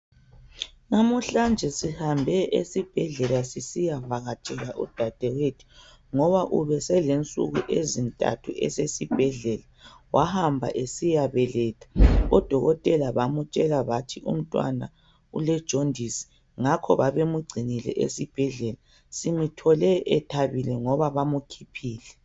Lamuhlanje sihambe esibhedlela sisiyavakatshela udadewethu ngoba ubeselensuku ezintathu esesibhedlela, wahamba esiyabeletha, odokotela bamtshela bathi umntwana ule jondisi, ngakho babemngcinile esibhedlela. Simthole ethabile ngoba bamkhiphile.